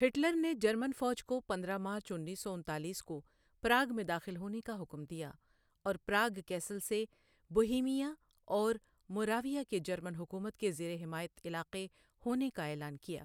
Hitler نے German فوج کو پندرہ مارچ انیس سو انتالیس کو پراگ میں داخل ہونے کا حکم دیا اور پراگ کیسل سے بوہیمیا اور موراویا کے جرمن حکومت کے زیر حمایت علاقے ہونے کا اعلان کیا۔